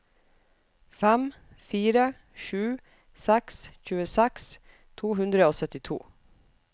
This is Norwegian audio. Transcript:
fem fire sju seks tjueseks to hundre og syttito